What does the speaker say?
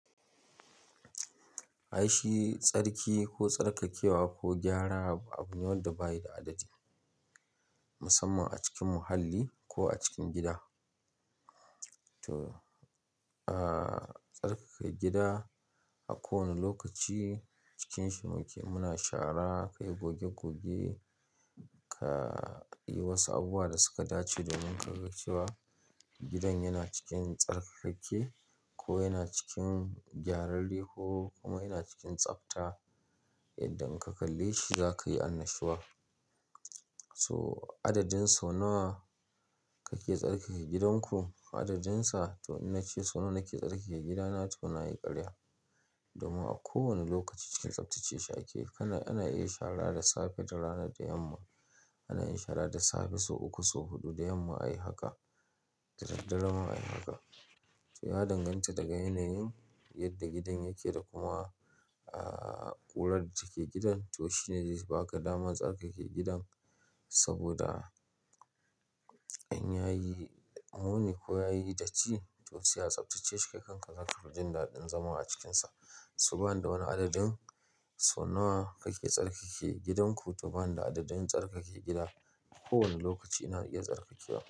Aishi tsarki ko tsarkakewa ko gyara abu ne wanda bayi da adadi musamman a cikin muhalli ko a cikin gida. To tsarkake gida a kowane lokaci cikinshi muke, muna shara ka yi goge goge, ka yi wasu abubuwa da suka dace domin ka ga cewa gidan yana cikin tsarkakakke ko yana cikin gyararre ko kuma yana cikin tsafta. Yadda in ka kalle shi za ka yi annashuwa. So adadin sau nawa kake tsarkake gidanku adadinsa to in na ce sau nawa nake tsarkake gidana to na yi karya. Domin a kowane lokaci cikin tsaftace shi ake kana ana iya shara da safe, da rana, da yamma. Ana iya shara da safe, sau uku, sau huɗu, da yamma ayi haka, da daddare ma ayi haka. To ya danganta daga yanayin yadda gidan yake da kuma kurar da take gidan. To shine zai baka damar tsarkake gidan saboda in ya yi muni ko ya yi datti to sai a tsaftace shi. Kai kanka zaka fi jin daɗin zama a cikinsa. So bani da wani adadin sau nawa kake tsarkake gidanku to bani da adadin tsarkake gida. A kowane lokaci ina iya tsarkakewa.